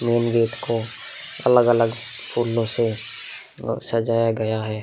Main gate को अलग-अलग फूलो से अ सजाया गया है।